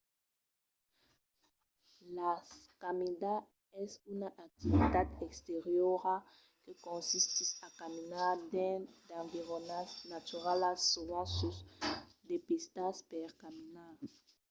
la caminada es una activitat exteriora que consistís a caminar dins d'environas naturalas sovent sus de pistas per caminar